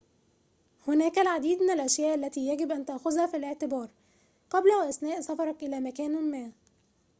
هناك العديد من الأشياء التي يجب أن تأخذها في الاعتبار قبل وأثناء سفرك إلى مكان ما